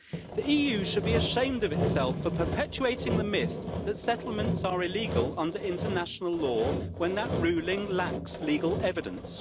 The EU should be ashamed of itself for perpetuating the myth that settlements are illegal under international law when that ruling lacks legal evidence.